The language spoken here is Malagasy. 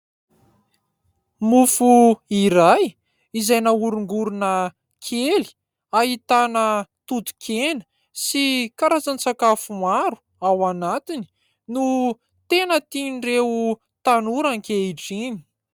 Mofo iray izay nahorongorona kely ahitana toto-kena sy karazan-tsakafo maro ao anatiny no tena tian'ireo tanora ankehitriny.